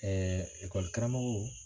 Ɛɛ ekɔlikaramɔgɔw